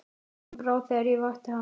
Honum brá þegar ég vakti hann.